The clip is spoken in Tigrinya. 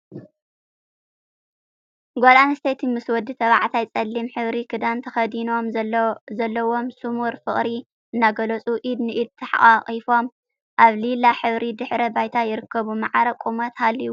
ጋል ኣንስተይቲ ምስ ወዲ ተባዕታይ ጸሊም ሕብሪ ክዳን ተከዲኖም ዘለዎም ስሙር ፍቅሪ እናገለጹ ኢድ ንኢድ ተሓቃቂፎም ኣብ ሊላ ሕብሪ ድሕረ ባይታ ይርከቡ። ማዕረ ቁመት ሃልይዎም ብጣዕሚ ደስ በሃልቲ እዮም።